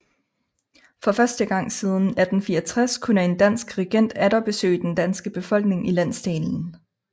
For første gang siden 1864 kunne en dansk regent atter besøge den danske befolkning i landsdelen